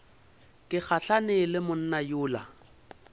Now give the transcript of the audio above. ke gahlane le monna yola